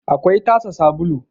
akwai tasa sabulu